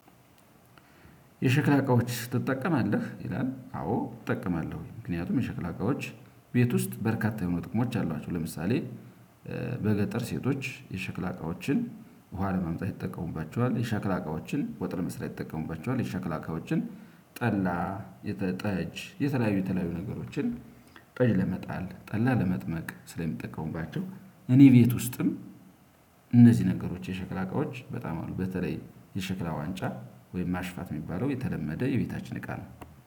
የሽክላ እቃዎች ትጠቀማለህ? ይላል አዎ እጠቀማለሁኝ ምክንያቱም የሽክላ እቃዎች ቤት ውስጥ በርካታ የሆኑ ጥቅሞች አሏቸው። ለምሳሌ በገጠር ሴቶች የሸክላ እቃዎችን ውሃ ለማምጣት ይጠቀሙባቸዋል የሸክላ እቃዎችን ወጥ ለመስራት ይጠቀሙባቸዋል የሸክላ እቃዎችን ጠላ ጠጅ የተለያዩ የተለያዩ ነገሮችን ጠጅ ለመጣል ጠላ ለመጥመቅ ስለሚጠቀሙባቸው። እኔ ቤት ውስጥም እነዚህ ነገሮች የሸክላ እቃዎች በጣም አሉ። በተለይ የሸክላ ዋንጫ ወይም ማሽፋት የሚባለው የተለመደ የቤታችን እቃ ነው።